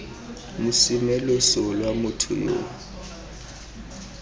mosime loso lwa motho yo